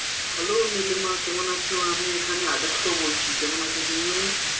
Hello Nilima কেমন আছো, আমি এখানে আদিত্য বলছি। কেমন আছো তুমি?